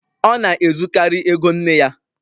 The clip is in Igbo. Ọ na-ezukarị ego nne ya.